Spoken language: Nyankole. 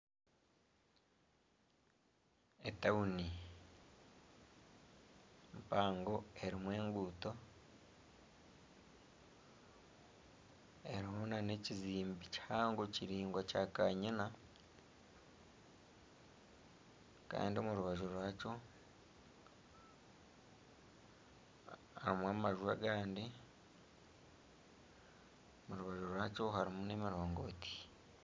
Etawuni mpango erimu enguuto, erimu n'ekizimbe kihango kiringwa kya' kanyina Kandi omurubaju rwakyo harimu amaju agandi. Omurubaju rwakyo harimu n'emiringoti.